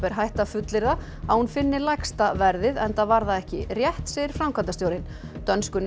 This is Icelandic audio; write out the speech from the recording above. er hætt að fullyrða að hún finni lægsta verðið enda var það ekki rétt segir framkvæmdastjórinn dönsku